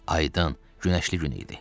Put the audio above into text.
Aydın, günəşli gün idi.